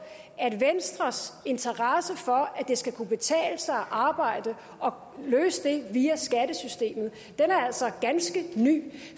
at venstres interesse for at det skal kunne betale sig at arbejde og at løse det via skattesystemet altså er ganske ny